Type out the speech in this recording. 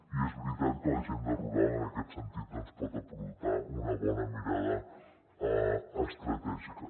i és veritat que l’agenda rural en aquest sentit doncs pot aportar una bona mirada estratègica